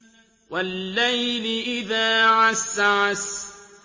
وَاللَّيْلِ إِذَا عَسْعَسَ